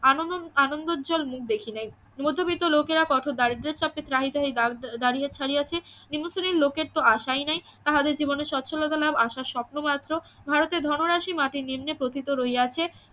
আনন আনন্দজ্বল মুখ দেখি নাই মধ্যবিত্ত লোকেরা কত দারিদ্রের সাথে ত্রাহি ত্রাহি ~ দারিয়া ছাড়িয়াছে নিম্নস্থানীয় লোকের তো আশাই নাই তাহাদের জীবনে স্বচ্ছলতা লাভ জীবনের আশা স্বপ্ন মাত্র ভারতের ধনরাশি মাটির নিম্নে প্রথিত রহিয়াছে